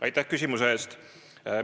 Aitäh küsimuse eest!